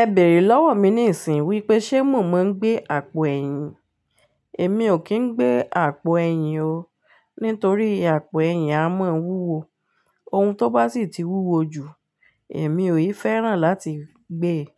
Ẹ bèrè lọ́wọ́ mi níìsín wípé ṣe mo mọ gbé àpò ẹ̀yìn. Èmi ò kín gbé àpò ẹ̀yìn o, nítorí àpò ẹ̀yìn a mọ́ wúwo. Ohun tó bá sì ti wúwo jù, èmi ò yí fẹ́ràn láti gbé e,